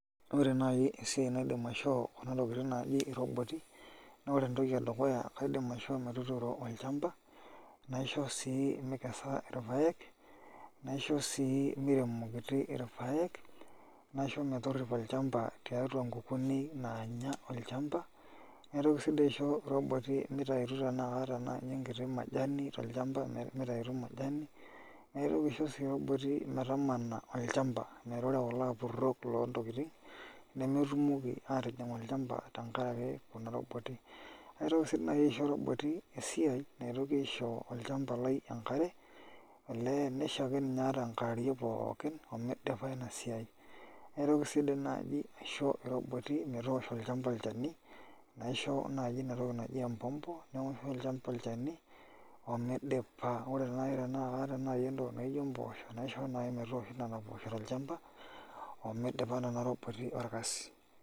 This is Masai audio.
Ore naai esiai naidim asihoo kuna tokitin naaji roboti naa ore enedukuya kaidm aishoo metuturo olchamba naishoo sii mikesa irpaek naishoo sii miremokiti irpaek naisho metorripo olchamba tiatu nkukuuni naanya olchamba naitoki sii dii aisho iroboti isiatin tenaa kaata naai enkiti majani mitayutu majani naitoki sii aisho obo metamana olchamba metaa ore kulo apurrok loontokitin nemetumoki aatijing' olchamba tenkaraki kuna roboti naitoki sii nai aisho esiai naitoki aisho kuna roboti enkare olee nisho ake ninye ata enkewarie pookin omidipa ina siai. Naigil naai naisho iroboti metoosho olchani naisho naai ina toki naji empompo metoosho olchamba olchani midipa ore naai tenaata entoki naa ijio mpoosho naisho naai metoosho nena poosho tolchamba omidipa nena roboti orkasi.